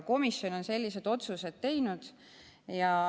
Komisjon on aga sellised otsused teinud.